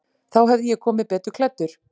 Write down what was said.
Þá hefði ég komið betur klæddur.